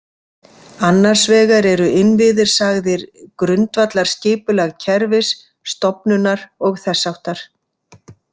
Annars vegar eru innviðir sagðir „Grundvallarskipulag kerfis, stofnunar og þess háttar“